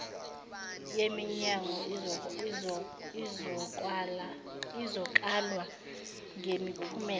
yeminyango izokalwa ngemiphumela